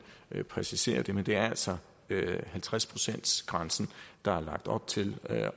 præcisere det men det er altså halvtreds procentsgrænsen der er lagt op til